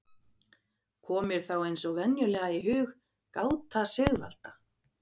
Kom mér þá eins og venjulega í hug gáta Sigvalda